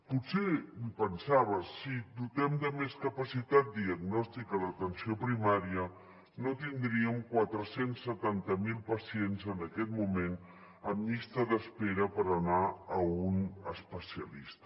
potser pensava si dotéssim de més capacitat diagnòstica l’atenció primària no tindríem quatre cents i setanta miler pacients en aquest moment en llista d’espera per anar a un especialista